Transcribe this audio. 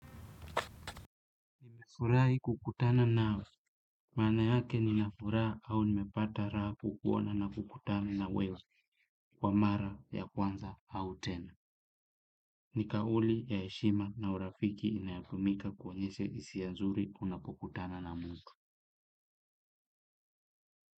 Furai kukutana nawe, maana yake ni na furaha au ni mepata raha kuona na kukutana na wewe kwa mara ya kwanza au tena. Ni kauli ya heshima na urafiki inayotumika kuonyeshe hisia mzuri unapokutana na mtu.